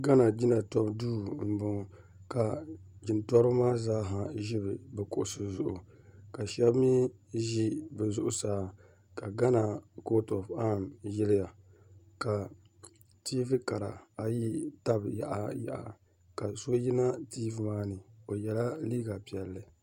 Ghana jina tɔbu duu m-bɔŋɔ ka jintɔriba maa zaa ʒi bɛ kuɣisi zuɣu ka shɛba mi ʒi bɛ zuɣusaa ka Ghana kooti wofi aam yiliya ka tiivi kara ayi tabi yaɣayaɣa ka so yina tiivi maa ni o yɛla liiga piɛlli